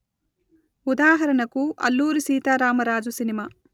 ఉదాహరణకు అల్లూరి సీతారామరాజు సినిమా